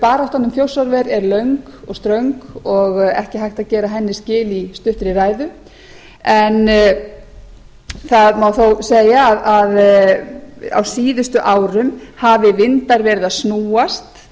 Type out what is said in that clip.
baráttan um þjórsárver er löng og ströng og ekki hægt að gera henni skil í stuttri ræðu en það má þó segja að á síðustu árum hafi vindar verið að snúast